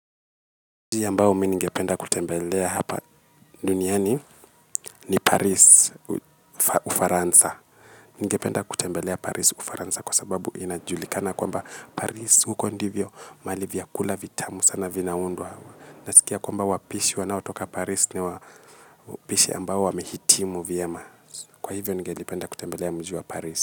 Mji ambao mi ningependa kutembelea hapa duniani ni Paris Ufaransa. Ningependa kutembelea Paris Ufaransa kwa sababu inajulikana kwamba Paris huko ndivyo mahali vyakula vitamu sana vinaundwa. Nasikia kwamba wapishi wanaotoka Paris ni wapishi ambao wamehitimu vyema. Kwa hivyo ningelipenda kutembelea mji wa Paris.